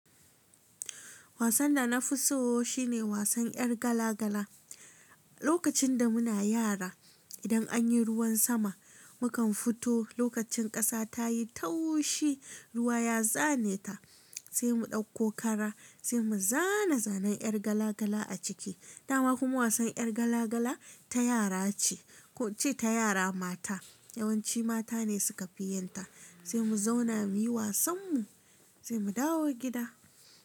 Wasan da na fi so shine wasan 'yar gala-gala. Lokacin da muna yara, idan anyi ruwan sama, mukan fito lokacin kasa tayi taushi, ruwa ya zane ta sai mu ɗauko kara sai mu zana zanen yar gala-gala a ciki. Dama kuma wasan yar gala-gala ta yara ce, ko in ce ta yara mata. Yawanci mata ne su kafi yinta. Sai mu zauna muyi wasan mu sai mu dawo gida.